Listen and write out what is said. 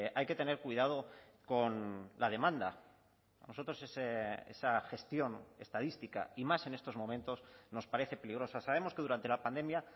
hay que tener cuidado con la demanda a nosotros esa gestión estadística y más en estos momentos nos parece peligrosa sabemos que durante la pandemia